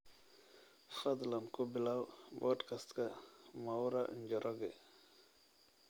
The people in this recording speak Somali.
fadlan ku bilow podcast-ka mwaura njoroge